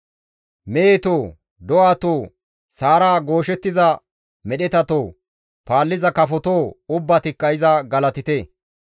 Mehetoo, do7atoo, sa7ara gooshettiza medhetatoo! Paalliza kafotoo ubbatikka iza galatite.